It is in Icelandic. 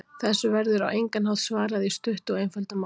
Þessu verður á engan hátt svarað í stuttu og einföldu máli.